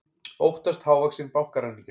Óttast hávaxinn bankaræningja